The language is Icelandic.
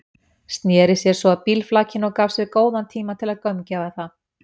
Sneri sér svo að bílflakinu og gaf sér góðan tíma til að gaumgæfa það.